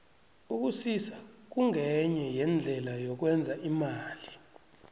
ukusisa kungenye yeendlela yokwenza imali